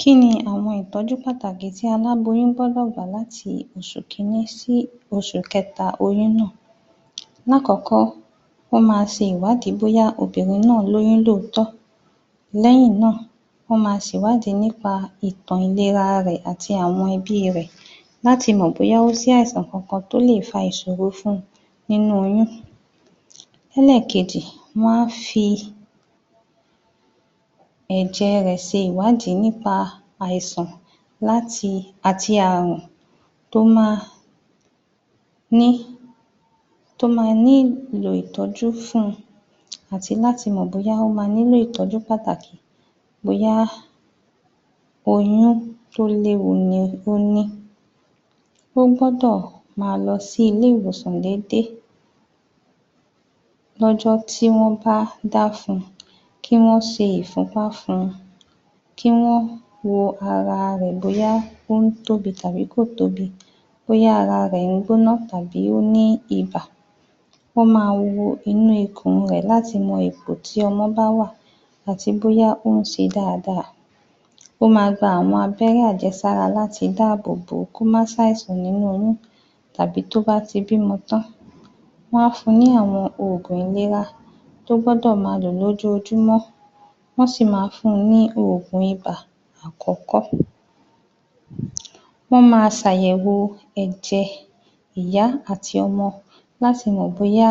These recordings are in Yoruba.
Kí ni àwọn ìtọ́jú pàtàkì tí aláboyún gbọ́dọ̀ gbà láti oṣù kìíní sí oṣù kẹta oyún náà, lákọ̀ọ́kọ́ wọ́n máa ṣe ìwádìí bóyá obìnrin náà lóyún ní tòótọ́ lẹ́yìn náà, wọ́n máa ṣèwádìí nípa ìtàn ìlera ara rẹ̀ àti àwọn ẹbí rẹ̀ láti mọ̀ bóyá ó ṣe àìsàn kankan tí ó lè fa ìṣòro fún un nínú oyún. Ẹlẹ́ẹ̀kejì, wọ́n á fi ẹ̀jẹ̀ rẹ ṣe ìwádìí nípa àìsàn láti àti ààrùn tó máa ní, tó máa ní ìlò ìtọ́jú fún un àti láti mọ̀ bóyá ó máa nílò ìtọ́jú pàtàkì bóyá oyún tó léwu ni ó ní, ó gbọ́dọ̀ máa lọ sí ilé ìwòsàn déédéé lọ́jọ́ tí wọ́n bá dá fún un, kí wọ́n ṣe ìfúnpá fún un, kí wọ́n wo ara rẹ̀ bóyá ó ń tóbi àbí kò tóbi bóyá ara rẹ̀ ń gbóná tàbí ó ní ibà. Wọ́n máa wo inú ikùn rẹ̀ láti mọ ipò tí ọmọ bá wà àti bóyá ó ń ṣe dáadáa. Ó máa gba àwọn abẹ́rẹ́ àjẹsára láti dáàbò bò ó kó má ṣàìsàn nínú oyún tàbí tó bá ti bímọ tán. Wọ́n á fún un ní àwọn òògùn ìlera tó gbọ́dọ̀ máa lò lójoojúmọ́, wọ́n sì máa fún un ní òògùn ibà àkọ́kọ́. Wọn máa ṣ'àyẹ̀wò ẹ̀jẹ̀ ìyá àti ọmọ láti mọ̀ bóyá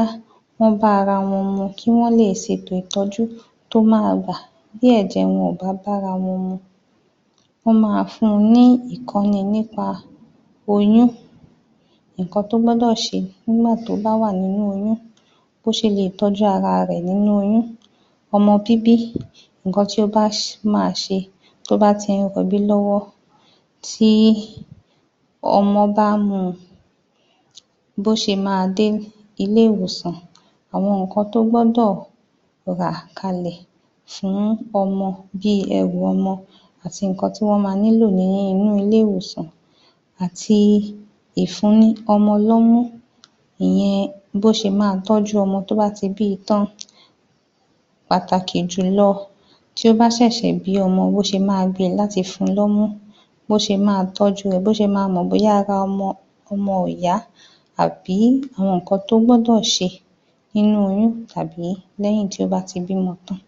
wọ́n bá ara wọn mu kí wọ́n lè ṣe ètò ìtọ́jú tó máa wà tí ẹ̀jẹ̀ wọn ò bá bá ara wọn mu. Wọ́n máa fún un ní ẹ̀kọ́ rẹ̀ nípa oyún nǹkan tó gbọ́dọ̀ ṣe nígbà tó bá wà nínú oyún, bó ṣe lè tọ́jú ara rẹ̀ nínú oyún. Ọmọ bíbí, nǹkan tí o bá um máa ṣe tó o bá ti ń rọbí lọ́wọ́ tí ọmọ bá ń mú un, bó ṣe máa dé ilé ìwòsàn, àwọn nǹkan tó gbọ́dọ̀ rà kalẹ̀ fún ọmọ bíi ẹrù ọmọ àti nǹkan tí wọ́n máa nílò ní inú ilé ìwòsàn àti ìfún ní ọmọ lọ́mú, ìyẹn bó ṣe máa tọ́jú ọmọ tó bá ti bíi tán. pátàkì jùlọ tí ó bá ṣẹ̀ṣẹ̀ bímọ bí ó ṣe máa gbé e tí ó bá fẹ́ fún un lọ́mú, bóṣe máa tọju ẹ̀, bóṣe máa mọ̀ bóyá ara ọmọ ọmọ ò yá àbí àwọn nǹkan tó gbọ́dọ̀ ṣe nínú oyún tàbí lẹ́yìn tí ó bá ti bímọ tán.